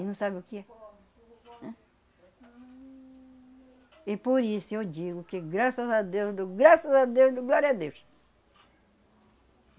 E não sabe o que é. E por isso eu digo que graças a Deus do... Graças a Deus do... Glória a Deus.